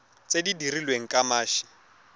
tse di dirilweng ka mashi